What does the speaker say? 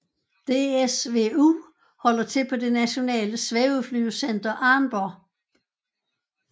DSvU holder til på det Nationale Svæveflyvecenter Arnborg